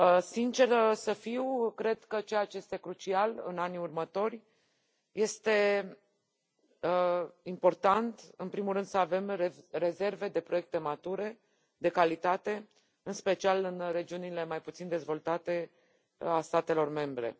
Sinceră să fiu, cred că ceea ce este crucial în anii următori, este important, în primul rând, să avem rezerve de proiecte mature, de calitate, în special în regiunile mai puțin dezvoltate ale statelor membre.